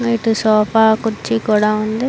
ఇటు సోఫా కుర్చీ కూడా ఉంది.